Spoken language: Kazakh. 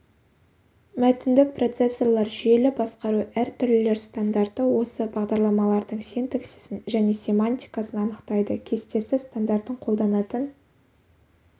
мәтіндік процессорлар жүйелі басқару әр түрлілер стандарты осы бағдарламалардың синтаксисін және семантикасын анықтайды кестесі стандартын қолданатын